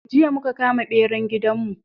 Jiya muka kama beran gidan mu